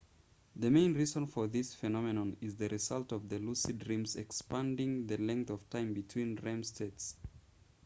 the main reason for this phenomenon is the result of the lucid dreams expanding the length of time between rem states